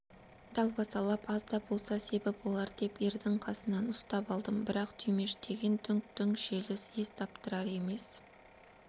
далбасалап аз да болса себі болар деп ердің қасынан ұстап алдым бірақ түймештеген дүңк-дүңк желіс ес таптырар емес